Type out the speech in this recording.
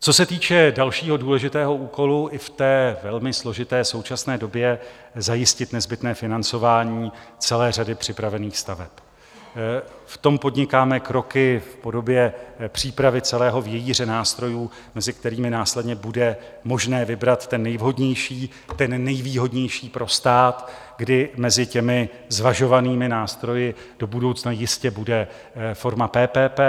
Co se týče dalšího důležitého úkolu i v té velmi složité současné době zajistit nezbytné financování celé řady připravených staveb, v tom podnikáme kroky v podobě přípravy celého vějíře nástrojů, mezi kterými následně bude možné vybrat ten nejvhodnější, ten nejvýhodnější pro stát, kdy mezi těmi zvažovanými nástroji do budoucna jistě bude forma PPP,